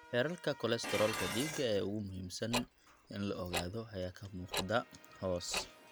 Heerarka kolestaroolka dhiigga ee ugu muhiimsan in la ogaado ayaa ka muuqda hoos.